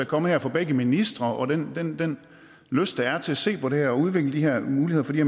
kommet her fra begge ministre og den den lyst der er til at se på det her og udvikle de her muligheder for de